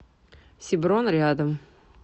сиброн рядом